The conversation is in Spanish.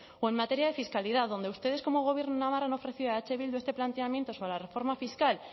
o en materia fiscalidad donde ustedes como gobierno en navarra han ofrecido a eh bildu este planteamiento para la reforma fiscal